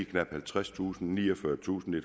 knap halvtredstusind niogfyrretusinde og